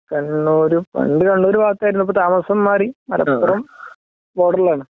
കണ്ണൂര് പണ്ട് കണ്ണൂരൂഭാഗത്തായിരുന്നു ഇപ്പം താമസം മാറി മലപ്പുറം ബോർഡറിൽ ആണ് .